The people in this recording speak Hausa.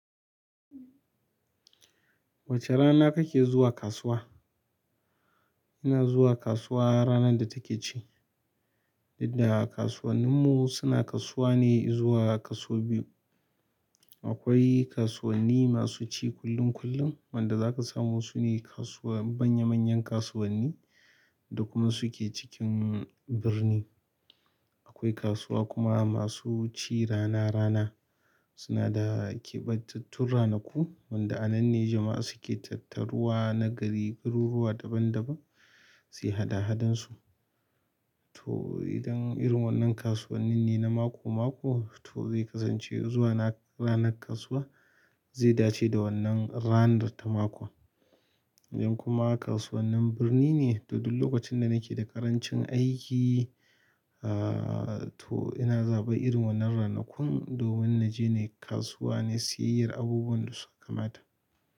Wace rana kake zuwa kasuwa? Ina zuwa kasuwa ranar da take ci. Yanda kasuwannin mu suna kasuwa ne izuwa kaso biyu. Akwai kasuwanni masu ci kullum kullum wanda za ka samu su ne kasuwa manya manyan kasuwanni duk suke cikin birni. Akwai kasuwa kuma masu ci rana rana suna da keɓantattun ranaku wanda anan ne jama'a suke tattaruwa na gari garuruwa daban daban suyi haɗa hadan su. To idan irin wannan kasuwannin ne na mako mako to zai kasance zuwa na ranar kasuwa zai dace da wannan ranar ta mako. Idan kuma kasuwannin birni ne, to duk lokacin da nake da ƙarancin aiki aaah to ina zaɓa irin wannan ranakun domin na je ne kasuwa ne siyayyar abubuwan da suka kamata.